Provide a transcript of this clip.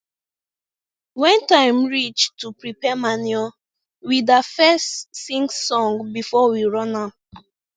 when time reach to prepare manure we da fes sing before we run am